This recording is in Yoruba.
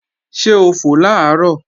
Ṣé ó fò làárọ̀?